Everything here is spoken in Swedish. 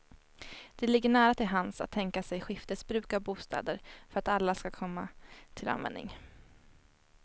Det ligger nära till hands att tänka sig skiftesbruk av bostäder för att alla ska komma till användning.